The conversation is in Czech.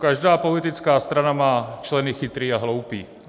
Každá politická strana má členy chytrý a hloupý."